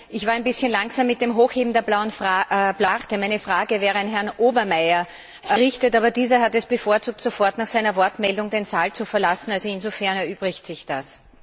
Ich war ein bisschen langsam mit dem Hochheben der blauen Karte. Meine Frage wäre an Herrn Obermayr gerichtet, aber dieser hat es vorgezogen, sofort nach seiner Wortmeldung den Saal zu verlassen, also insofern erübrigt sich das.